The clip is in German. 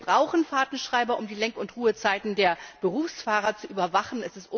Wir brauchen Fahrtenschreiber, um die Lenk und Ruhezeiten der Berufsfahrer zu überwachen.